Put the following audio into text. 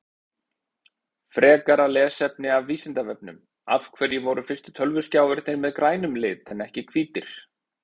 Frekara lesefni af Vísindavefnum Af hverju voru fyrstu tölvuskjáirnir með grænum lit en ekki hvítir?